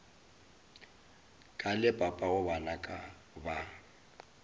ka le papago bana ba